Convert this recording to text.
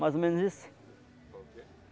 Mais ou menos isso?